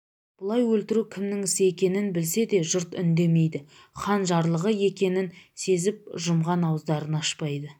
бұлай өлтіру кімнің ісі екенін білсе де жұрт үндемейді хан жарлығы екенін сезіп жұмған ауыздарын ашпайды